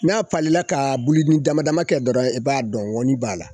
N'a falila ka bululi dama dama kɛ dɔrɔn i b'a dɔn ŋɔni b'a la.